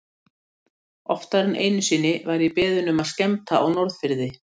Oftar en einu sinni var ég beðinn um að skemmta á Norðfirði.